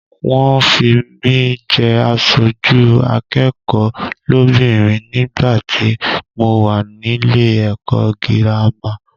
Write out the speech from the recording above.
Wọ́n fi mí jẹ aṣojú akẹ́kọ̀ọ́ lóbìnrin nígbàtí mo wà nílé ẹ̀kọ́ gírámà.